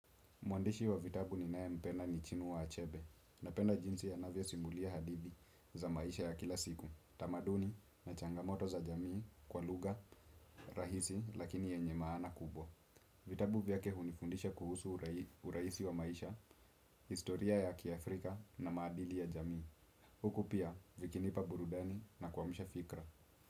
Mwandishi wa vitabu ninayempenda ni chinua achebe napenda jinsi anavyosimulia hadithi za maisha ya kila siku. Tamaduni na changamoto za jamii kwa lugha, rahisi lakini yenye maana kubwa. Vitabu vyake hunifundisha kuhusu urahisi wa maisha, historia ya kiafrika na maadili ya jamii. Huku pia vikinipa burudani na kumsha fikra.